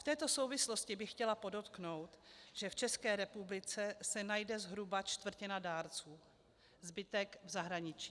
V této souvislosti bych chtěla podotknout, že v České republice se najde zhruba čtvrtina dárců, zbytek v zahraničí.